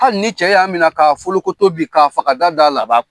Hali ni cɛ y'a minɛ ka foli ko to bi k'a faga da da la a ba